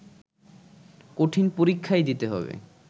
কঠিন পরীক্ষাই দিতে হবে